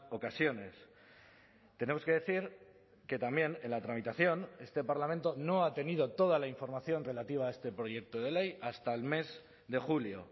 ocasiones tenemos que decir que también en la tramitación este parlamento no ha tenido toda la información relativa a este proyecto de ley hasta el mes de julio